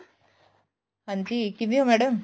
ਹਾਂਜੀ ਕਿਵੇਂ ਓ madam